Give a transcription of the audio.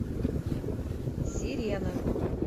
сирена